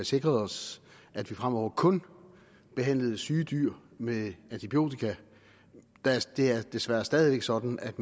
sikret os at vi fremover kun behandler syge dyr med antibiotika det er desværre stadig væk sådan at